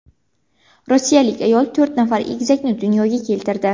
Rossiyalik ayol to‘rt nafar egizakni dunyoga keltirdi.